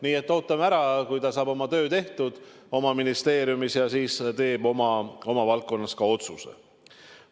Nii et ootame ära, kui ta saab oma töö oma ministeeriumis tehtud ja siis teeb oma valdkonnas ka otsuse.